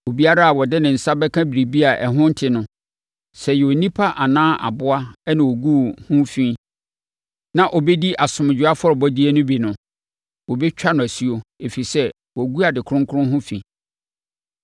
Obiara a ɔde ne nsa bɛka biribi a ɛho nte no, sɛ ɛyɛ onipa anaa aboa na ɔguu ho fi na ɔbɛdii asomdwoeɛ afɔrebɔdeɛ no bi no, wɔbɛtwa no asuo, ɛfiri sɛ, wagu ade kronkron ho fi.’ ”